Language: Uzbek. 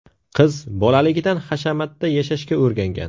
Qiz bolaligidan hashamatda yashashga o‘rgangan.